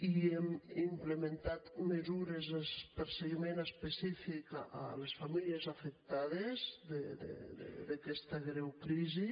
i hem implementat mesures de seguiment específic a les famílies afectades d’aquesta greu crisi